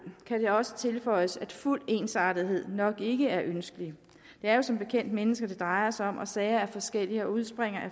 kan det også tilføjes at fuld ensartethed nok ikke er ønskeligt det er jo som bekendt mennesker det drejer sig om og sager er forskellige og udspringer